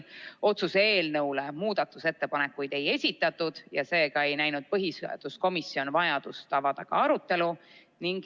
Otsuse eelnõu kohta muudatusettepanekuid ei esitatud, seega ei näinud põhiseaduskomisjon vajadust avada arutelu.